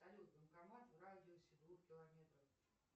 салют банкомат в радиусе двух километров